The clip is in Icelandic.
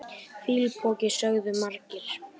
Fýlupoki sögðu margir.